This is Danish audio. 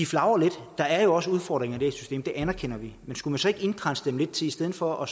flagrer lidt der er jo også udfordringer i det her system det anerkender vi men skulle man så ikke indkredse dem lidt i stedet for at